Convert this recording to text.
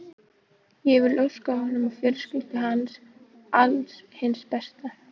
Ég vil óska honum og fjölskyldu hans alls hins besta.